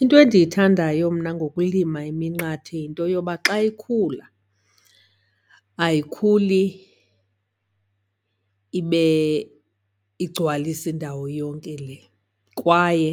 Into endiyithandayo mna ngokulima iminqathe yinto yoba xa ikhula ayikhuli ibe igcwalise indawo yonke le. Kwaye